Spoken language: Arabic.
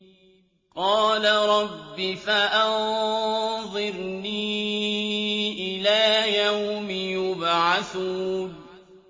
قَالَ رَبِّ فَأَنظِرْنِي إِلَىٰ يَوْمِ يُبْعَثُونَ